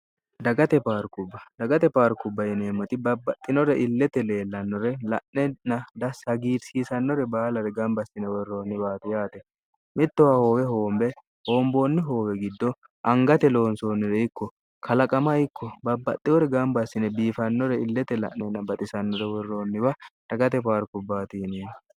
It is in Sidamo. ddagate paarkubbayineemmoti babbaxxinore illete leellannore la'nenn dsagiirsiisannore baalare gamba assine worroonniwaati yaate mittowa hoowe hoombe hoomboonni hoowe giddo angate loonsoonnire ikko kalaqama ikko babbaxxiwore gamba assine biifannore illete la'nenna baxisannore worroonniwa dagate paarkubbaatiininni